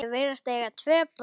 Þau virðast eiga tvö börn.